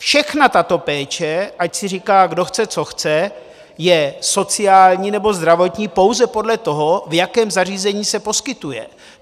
Všechna tato péče, ať si říká kdo chce co chce, je sociální nebo zdravotní pouze podle toho, v jakém zařízení se poskytuje.